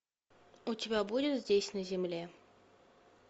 у тебя будет здесь на земле